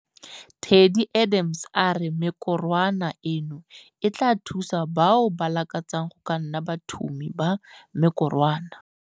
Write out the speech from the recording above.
Teddi Adams a re mekorwana eno e tla thusa bao ba lakatsang go ka nna bathumi ba mekorwana.